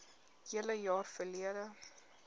hele jaar verlede